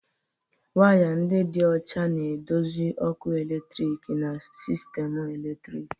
Waya ndị dị ọcha na-eduzi ọkụ eletrik na sistemu eletriki.